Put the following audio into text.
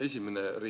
Austatud minister!